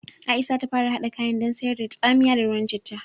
Aisha za ta fara haɗa kayan dan sayar da tsamiya da ruwan citta